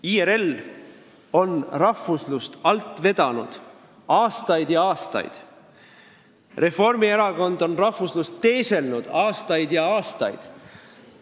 IRL on rahvuslust alt vedanud aastaid ja aastaid, Reformierakond on rahvuslust teeselnud aastaid ja aastaid.